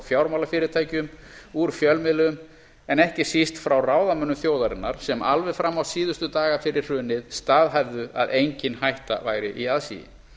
fjármálafyrirtækjum úr fjölmiðlum en ekki síst frá ráðamönnum þjóðarinnar sem alveg fram á síðustu daga fyrir hrunið staðhæfðu að engin hætta væri í aðsigi